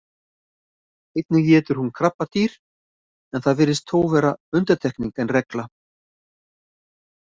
Einnig étur hún krabbadýr en það virðist þó frekar vera undantekning en regla.